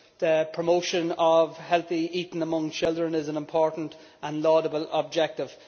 The promotion of healthy eating among children is an important and laudable objective.